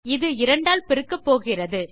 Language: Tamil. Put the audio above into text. இது இரண்டால் பெருக்கப்போகிறது